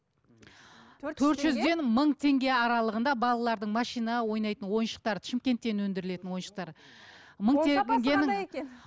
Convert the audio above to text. төрт жүз теңге төрт жүзден мың теңге аралығында балалардың машина ойнайтын ойыншықтары шымкенттен өндірілетін ойыншықтары